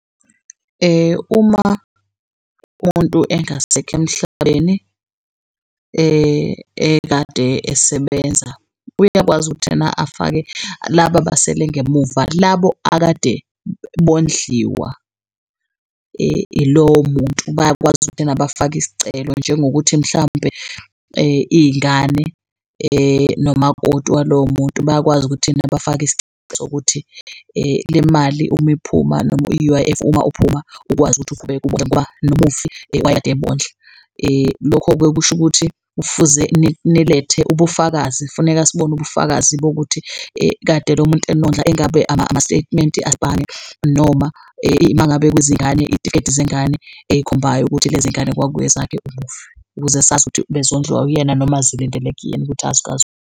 Uma umuntu engasekho emhlabeni ekade esebenza uyakwazi ukuthi ena afake laba abasele ngemuva labo akade bondliwa ilowo muntu bayakwazi ukuthi ena bafake isicelo njengokuthi mhlampe iy'ngane nomakoti walowo muntu bayakwazi ukuthi ena bafake isicelo sokuthi lemali uma iphuma noma i-U_I_F uma uphuma ukwazi ukuthi uqhubeke ubondle ngoba nomufi wayekade ebondla. Lokho-ke kusho ukuthi kufuze nilethe ubufakazi, funeka sibone ubufakazi bokuthi kade lo muntu enondla engabe ama-statement noma uma ngabe kuzingane izitifiketi zengane ey'khombayo ukuthi lezingane kwakuyezakhe umufi, ukuze sazi ukuthi bezondliwa uyena noma zilindele kuyena ukuthi .